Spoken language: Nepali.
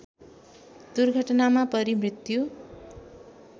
दुर्घटनामा परी मृत्यु